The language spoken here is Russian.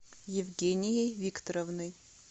евгенией викторовной